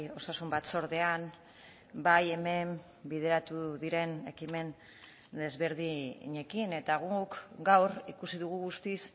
osasun batzordean bai hemen bideratu diren ekimen desberdinekin eta guk gaur ikusi dugu guztiz